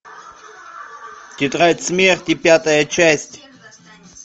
тетрадь смерти пятая часть